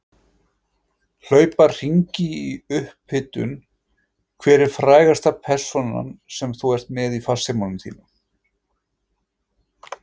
Hlaupa hringi í upphitun Hver er frægasta persónan sem þú ert með í farsímanum þínum?